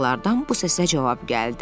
Dağlardan bu səsə cavab gəldi.